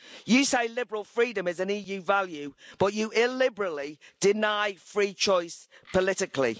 You say liberal freedom is an EU value, but you illiberally deny free choice politically.